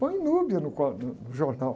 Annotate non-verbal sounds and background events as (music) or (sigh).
Põe (unintelligible) no, (unintelligible) no jornal.